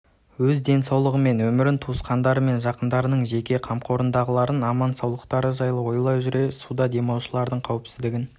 өз денсаулығы мен өмірін туысқандары мен жақындарының және қамқорындағылардың аман-саулықтары жайлы ойлай жүре суда демалушылардың қауіпсіздігін